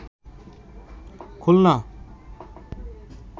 Khulna